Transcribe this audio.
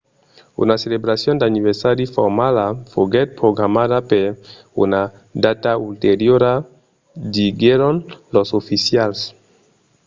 una celebracion d'anniversari formala foguèt programada per una data ulteriora diguèron los oficials